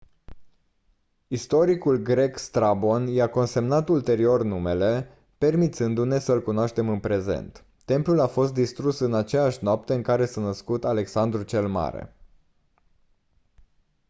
istoricul grec strabon i-a consemnat ulterior numele permițându-ne să-l cunoaștem în prezent templul a fost distrus în aceeași noapte în care s-a născut alexandru cel mare